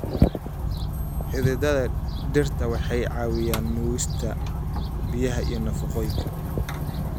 Xididdada dhirta waxay caawiyaan nuugista biyaha iyo nafaqooyinka.